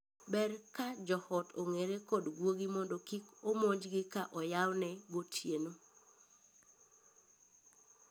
Ber ka joot ong'ere kod guogi mondo kik omonjgi ka oyawne gotieno.